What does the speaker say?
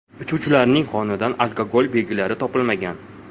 Uchuvchilarning qonidan alkogol belgilari topilmagan.